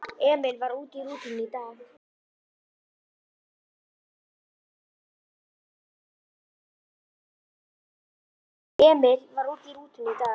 Emil, sem var í rútunni í dag.